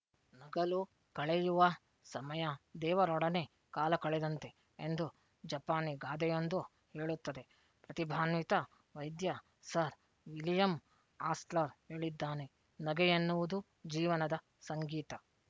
ನಗಲು ಕಳೆಯುವ ಸಮಯ ದೇವರೊಡನೆ ಕಾಲ ಕಳೆದಂತೆ ಎಂದು ಜಪಾನಿ ಗಾದೆಯೊಂದು ಹೇಳುತ್ತದೆ ಪ್ರತಿಭಾನ್ವಿತ ವೈದ್ಯ ಸರ್ ವಿಲಿಯಂ ಆಸ್ಲರ್ ಹೇಳಿದ್ದಾನೆ ನಗೆಯೆನ್ನುವುದು ಜೀವನದ ಸಂಗೀತ